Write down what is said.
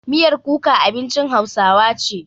Miyar kuka abincin hausawa ce.